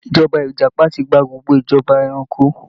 Ìjọba Ìjàpá ti gba gbogbo ìjọba eranko